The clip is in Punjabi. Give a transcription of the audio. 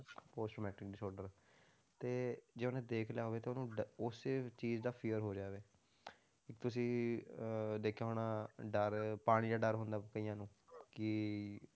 Post matric disorder ਤੇ ਜੇ ਉਹਨੇ ਦੇਖ ਲਿਆ ਹੋਵੇ ਤੇ ਉਹਨੂੰ ਡ~ ਉਸੇ ਚੀਜ਼ ਦਾ fear ਹੋ ਜਾਵੇ ਇੱਕ ਤੁਸੀਂ ਅਹ ਦੇਖਿਆ ਹੋਣਾ ਡਰ ਪਾਣੀ ਦਾ ਡਰ ਹੁੰਦਾ ਕਈਆਂ ਨੂੰ ਕਿ